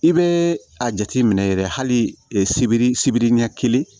I bɛ a jateminɛ yɛrɛ hali sibiri sibiri ɲɛ kelen